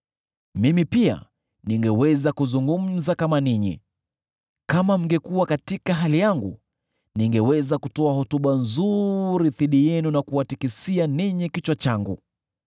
Mimi pia ningeweza kuzungumza kama ninyi, kama mngekuwa katika hali yangu; ningeweza kutoa hotuba nzuri dhidi yenu, na kuwatikisia ninyi kichwa changu.